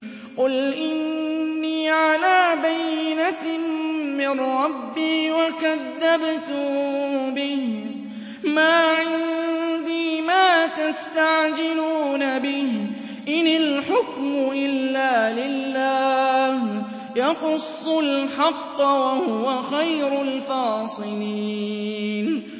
قُلْ إِنِّي عَلَىٰ بَيِّنَةٍ مِّن رَّبِّي وَكَذَّبْتُم بِهِ ۚ مَا عِندِي مَا تَسْتَعْجِلُونَ بِهِ ۚ إِنِ الْحُكْمُ إِلَّا لِلَّهِ ۖ يَقُصُّ الْحَقَّ ۖ وَهُوَ خَيْرُ الْفَاصِلِينَ